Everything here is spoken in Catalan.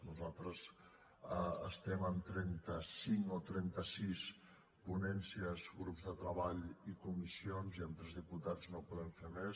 nosaltres estem en trenta cinc o trenta sis ponències grups de treball i comissions i amb tres diputats no podem fer més